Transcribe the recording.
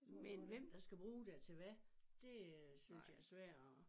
Men hvem der skal bruge det til hvad det øh synes jeg er svært at